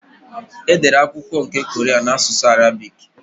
Edere akwụkwọ nke kọran n'asụsụ Arabị́c.